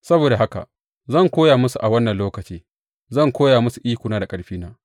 Saboda haka zan koya musu a wannan lokaci zan koya musu ikona da ƙarfina.